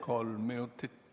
Kolm minutit.